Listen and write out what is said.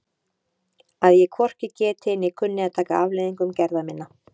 Að ég hvorki geti né kunni að taka afleiðingum gerða minna?